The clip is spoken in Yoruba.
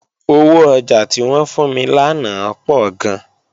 Owó ọjà tí wọ́n fún mi lánàá pọ̀ gan